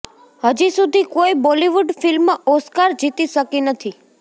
હજી સુધી કોઈ બોલીવૂડ ફિલ્મ ઓસ્કર જીતી શકી નથી